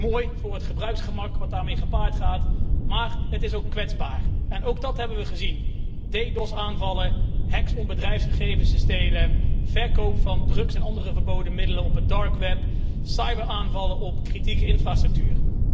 Dat is mooi voor het gebruiksgemak dat daarmee gepaard gaat, maar het is ook kwetsbaar. Ook dat hebben we gezien. DDoS-aanvallen, hacks om bedrijfsgegevens te stelen, verkoop van drugs en andere verboden middelen op het dark web cyberaanvallen op kritieke infrastructuur.